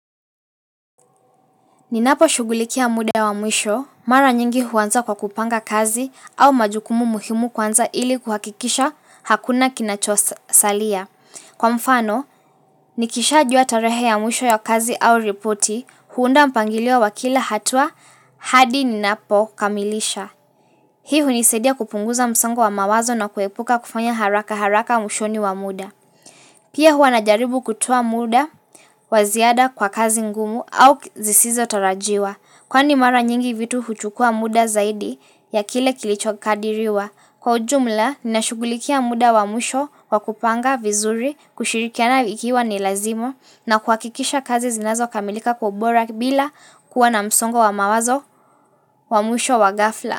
Ninapo shugulikia muda wa mwisho, mara nyingi huanza kwa kupanga kazi au majukumu muhimu kwanza ili kuhakikisha hakuna kinachosalia. Kwa mfano, nikisha jua tarehe ya mwisho ya kazi au ripoti huunda mpangilio wakila hatua hadi ninapo kamilisha. Hii hunisaidia kupunguza msango wa mawazo na kuepuka kufanya haraka haraka mwishoni wa muda. Pia huwanajaribu kutoa muda waziada kwa kazi ngumu au zisizo tarajiwa. Kwa ni mara nyingi vitu huchukua muda zaidi ya kile kilichokadiriwa. Kwa ujumla, nina shugulikia muda wa mwisho kwa kupanga vizuri, kushirikiana ikiwa ni lazima na kuhakikisha kazi zinazo kamilika kwa ubora bila kuwa na msongo wa mawazo wa musho wa gafla.